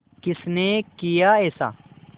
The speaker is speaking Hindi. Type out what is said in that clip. किसने किया ऐसा